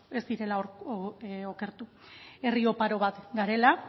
ez direla okertu herri oparo bat garela